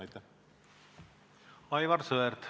Aivar Sõerd, palun!